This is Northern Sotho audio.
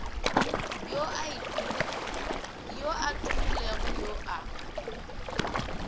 yo a tumilego yo a